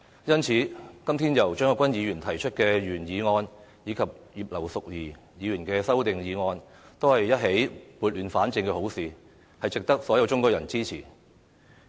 因此，今天由張國鈞議員提出的原議案和葉劉淑儀議員提出的修正案，正是撥亂反正的好事，值得所有中國人支持。